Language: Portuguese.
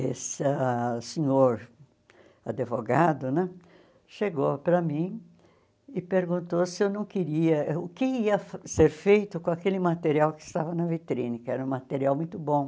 Essa senhor advogado né chegou para mim e perguntou se eu não queria, o que ia ser feito com aquele material que estava na vitrine, que era um material muito bom.